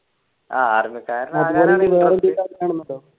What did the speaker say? ആഹ് army കാരനാകാൻ